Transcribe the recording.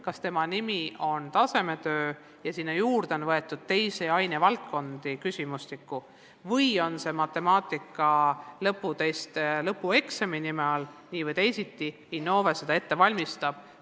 Kas selle nimi on tasemetöö ja kas sinna küsimustikku on juurde võetud teisi ainevaldkondi, või tuleb see matemaatika lõputest lõpueksami nime all – nii või teisiti Innove selle ette valmistab.